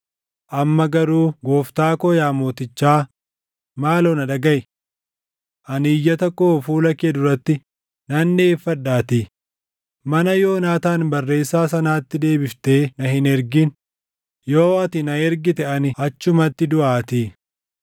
Amma garuu gooftaa koo yaa mootichaa, maaloo na dhagaʼi. Ani iyyata koo fuula kee duratti nan dhiʼeeffadhaatii, mana Yoonaataan barreessaa sanaatti deebiftee na hin ergin; yoo ati na ergite ani achumatti duʼaatii.”